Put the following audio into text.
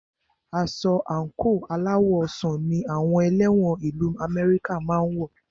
Aṣọ àńkò aláwọ̀ ọsàn ní àwọn ẹlẹ́wọ̀n ìlu Amẹ́ríkà máà ń wọ